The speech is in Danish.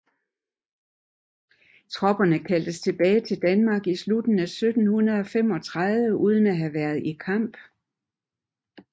Tropperne kaldtes tilbage til Danmark i slutningen af 1735 uden at have været i kamp